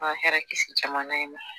An ka hɛrɛ kisi jamana in na.